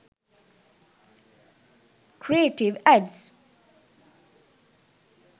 creative adds